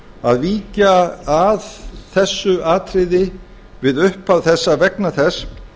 að víkja að þessu atriði við upphaf þessa vegna þess